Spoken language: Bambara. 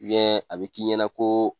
a bɛ k'i ɲɛna ko